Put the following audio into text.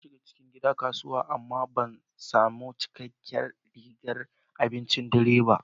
Na shiga cikin gidan kasuwa amma ban sami cikakkiyar rigar abincin dare ba.